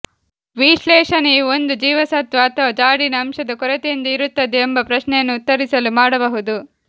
ವಿಶ್ಲೇಷಣೆಯು ಒಂದು ಜೀವಸತ್ವ ಅಥವಾ ಜಾಡಿನ ಅಂಶದ ಕೊರತೆಯಿಂದ ಇರುತ್ತದೆ ಎಂಬ ಪ್ರಶ್ನೆಯನ್ನು ಉತ್ತರಿಸಲು ಮಾಡಬಹುದು